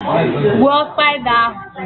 Kill the spider now